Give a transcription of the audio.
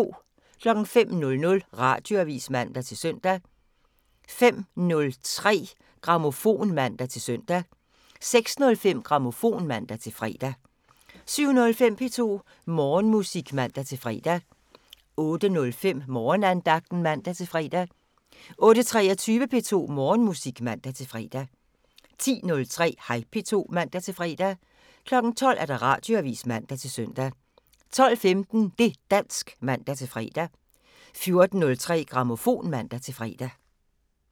05:00: Radioavisen (man-søn) 05:03: Grammofon (man-søn) 06:05: Grammofon (man-fre) 07:05: P2 Morgenmusik (man-fre) 08:05: Morgenandagten (man-fre) 08:23: P2 Morgenmusik (man-fre) 10:03: Hej P2 (man-fre) 12:00: Radioavisen (man-søn) 12:15: Det' dansk (man-fre) 14:03: Grammofon (man-fre)